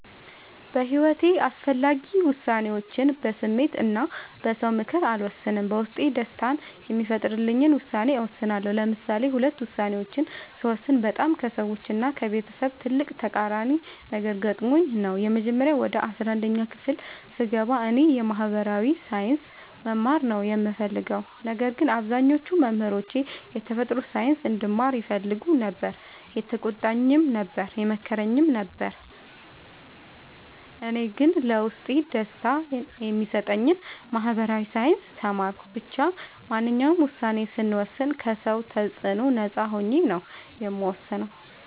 በሒወቴ አስፈላጊ ወሳኔዎችን በስሜት እና በ ሰው ምክር አልወሰንም። በውስጤ ደስታን የሚፈጥርልኝን ውሳኔ እወስናለሁ። ለምሳሌ ሁለት ውሳኔዎችን ስወስን በጣም ከሰዎች እና ከቤተሰብ ትልቅ ተቃራኒ ነገር ገጥሞኝ ነበር። የመጀመሪያው ወደ አስራአንድ ክፍል ስገባ እኔ የ ማህበራዊ ሳይንስ መማር ነው የምፈልገው። ነገር ግን አብዛኞቹ መምህሮቼ የተፈጥሮ ሳይንስ እንድማር ይፈልጉ ነበር የተቆጣኝም ነበር የመከረኝም ነበር እኔ ግን ለውስጤ ደስታን የሚሰጠኝን ማህበራዊ ሳይንስ ተማርኩ። ብቻ ማንኛውንም ውሳኔ ስወስን ከ ሰው ተፅዕኖ ነፃ ሆኜ ነው የምወስነው።